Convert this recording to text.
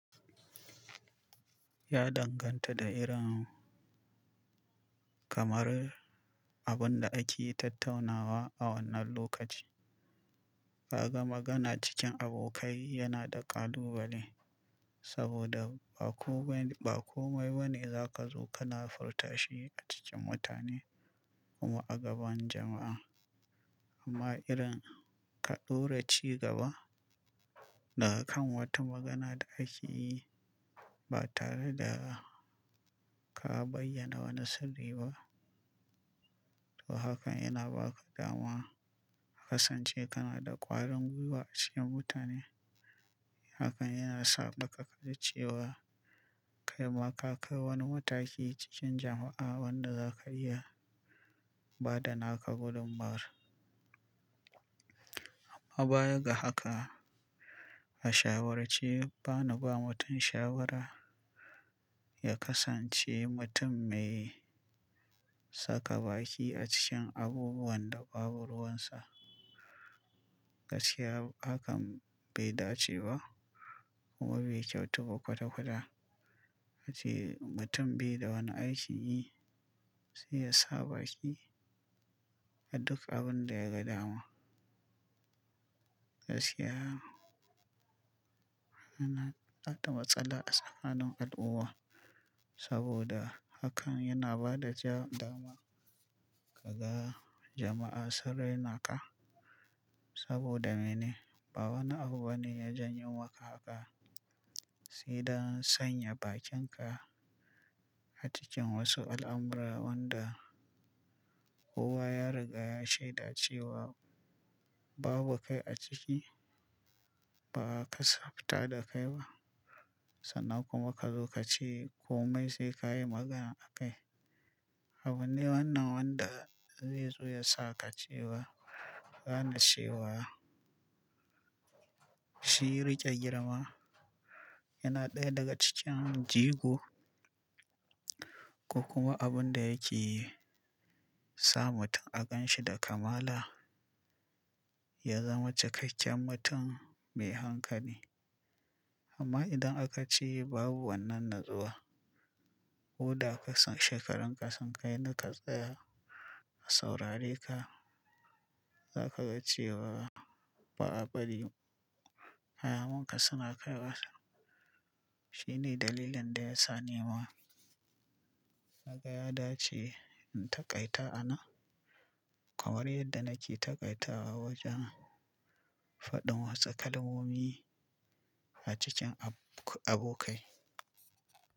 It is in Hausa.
Ya danganta da irin kamar abun da ake tattaunawa a wannan lokaci. Kaga magana cikin abokai yana da ƙalubale saboda ba komai, ba komai bane za ka zo kana furta shi a cikin mutane kuma a gaban jama'a. Amma irin ka ɗora cigaba daga kan wata magana da kake yi ba tare da ka bayyana wani sirri ba, to hakan yana baka dama ka kasance kana da ƙwarin gwiwa a cikin mutane. Hakan yana saɓaka ka ji cewa kai ma ka kai wani mataki cikin jama'a wanda za ka iya ba da naka gudummawar. Amma baya ga haka, a shawarce bana ba mutum shawara ya kasance mutum mai saka baki a cikin abubuwan da babu ruwansa. Kaskiya hakan bai dace ba kuma bai kyautu ba kwata-kwata. Rashin mutum bai da wani aikin yi, sai ya sa baki a duk abun da ya ga dama. Gaskiya yana haɗa matsala a tsakanin al'umma saboda hakan yana ba da ja dama ka ga jama'a sun rainaka. Saboda mene? Ba wani abu bane ya janyo maka haka, sai dan sanya bakinka a cikin wasu al'amura wanda kowa ya riga ya shaida cewa babu kai a ciki, ba ka tsafta da kai ba sannan kuma ka zo ka ce komai sai ka yi magana a kai. Abune wannan wanda zai zo ya sa ka cewa gane chewa. Shi riƙe girma yana ɗaya daga cikin jigo, ko kuma abun da yake sa mutum a gan shi da kamala, ya zama cikakken mutum mai hankali. Amma idan aka ce babu wannan natsuwa, koda kasan shekarun ka sun kai na ka tsaya a saurare ka, za ka ga cewa ba'a bari kayan ka suna kai wasa. Shi ne dalilin da ya sa ni ma naga ya dace in taƙaita anan kamar yadda nake taƙaita a wajen faɗin wata kalmomi a cikin ab-abokai.